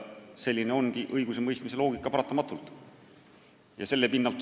Selline paratamatult ongi õigusemõistmise loogika.